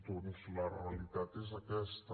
doncs la realitat és aquesta